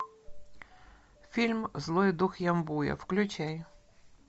фильм злой дух ямбуя включай